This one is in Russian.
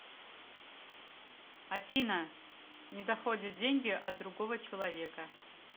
афина не доходят деньги от другого человека